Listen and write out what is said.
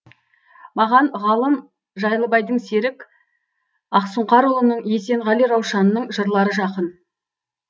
маған ғалым жайлыбайдың серік ақсұңқарұлының есенғали раушанның жырлары жақын